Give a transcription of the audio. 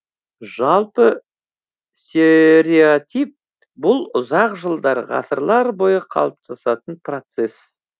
жалпы стереотип бұл ұзақ жылдар ғасырлар бойы қалыптасатын процесс